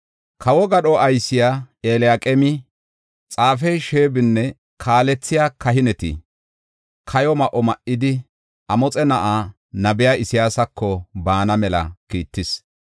Kawo gadho aysiya Eliyaqeemi, xaafey Sheebinne kaalethiya kahineti kayo ma7o ma7idi, Amoxe na7aa nabiya Isayaasako baana mela kiittis.